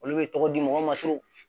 Olu bɛ tɔgɔ di mɔgɔw ma